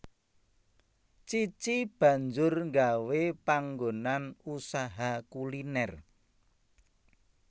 Cici banjur nggawé panggonan usaha kuliner